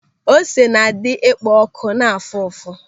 Ósé na-adị ekpo ọ̀kụ̀ na afụ ụfụ.